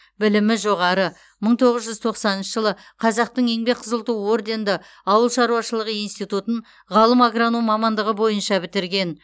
білімі жоғары мың тоғыз жүз тоқсаныншы жылы қазақтың еңбек қызыл ту орденді ауылшаруашылығы институтын ғалым агроном мамандығы бойынша бітірген